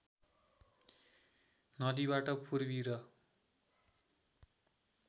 नदीबाट पूर्वी र